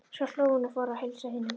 Svo hló hún og fór að heilsa hinum.